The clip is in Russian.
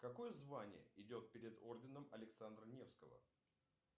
какое звание идет перед орденом александра невского